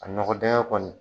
A nɔgɔ dɛngɛ kɔni